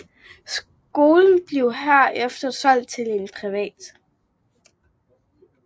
Skolen blev herefter solgt til en privat